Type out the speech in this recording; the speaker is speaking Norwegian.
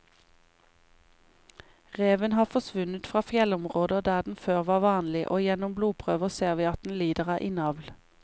Reven har forsvunnet fra fjellområder der den før var vanlig, og gjennom blodprøver ser vi at den lider av innavl.